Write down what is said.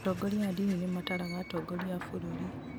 atongoria a ndini nimataraga atongoria a bũrũri